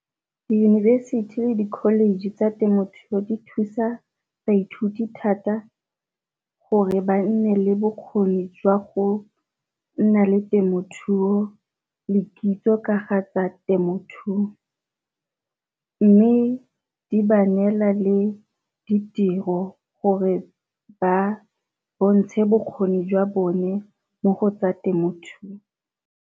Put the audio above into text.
Diyunibesithi le di college tsa temothuo di thusa baithuti thata gore ba nne le bokgoni jwa go nna le temothuo le kitso ka ga a tsa temothuo, mme di ba neela le ditiro gore ba bontshe bokgoni jwa bone mo go tsa temothuo.